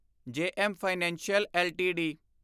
JM financial LTD